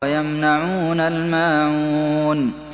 وَيَمْنَعُونَ الْمَاعُونَ